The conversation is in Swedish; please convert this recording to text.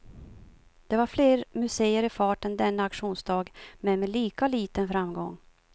Det var fler museer i farten denna auktionsdag, men med lika liten framgång.